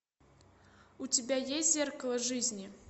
у тебя есть зеркало жизни